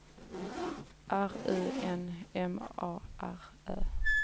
R U N M A R Ö